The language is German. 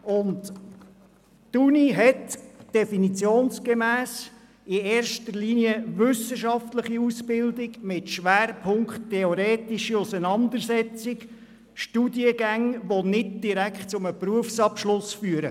Die Universität bietet definitionsgemäss in erster Linie wissenschaftliche Ausbildungen an mit Schwerpunkt theoretische Auseinandersetzung und verfügt über Studiengänge, die nicht direkt zu einem Berufsabschluss führen.